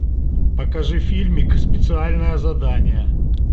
покажи фильмик специальное задание